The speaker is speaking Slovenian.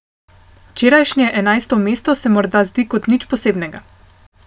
Včerajšnje enajsto mesto se morda zdi kot nič posebnega.